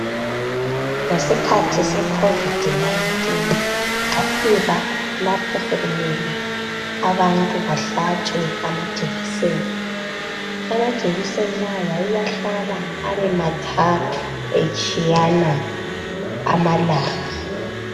Ngesikhathi secovid 19 kwafika lapho sokumele abantu behlabe amajekiseni amajekiseni lawa wawuwahlaba abe mathathu etshiyana amalanga